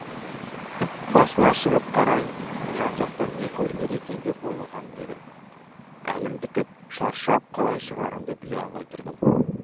басына шығып қарайын жан жақтан не көрінер екен деп ойлаған едім әлім бітіп шаршап қалай шығарымды біле алмай тұрдым